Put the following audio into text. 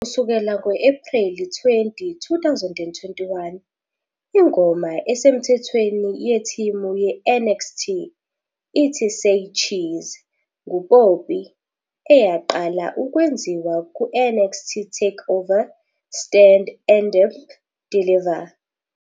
Kusukela ngo-Ephreli 20, 2021, ingoma esemthethweni yetimu ye-"NXT" ithi "Say Cheese" nguPoppy, eyaqala ukwenziwa kuNXT TakeOver- Stand and Deliver.